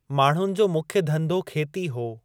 माण्हुनि जो मुख्य धंधो खेती हो।